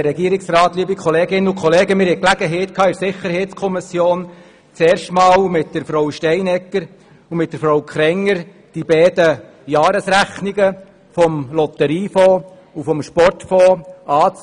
der SiK. Die SiK hat die Gelegenheit gehabt, zum ersten Mal mit Frau Steinegger und Frau Krenger die beiden Jahresrechnungen des Lotteriefonds und des Sportfonds anzuschauen.